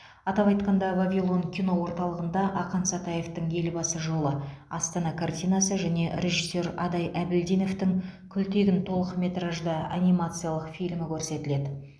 атап айтқанда вавилон кино орталығында ақан сатаевтың елбасы жолы астана картинасы және режиссер адай әбілдиновтің күлтегін толықметражды анимациялық фильмі көрсетіледі